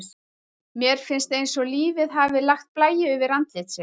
Mér finnst eins og lífið hafi lagt blæju yfir andlit sitt.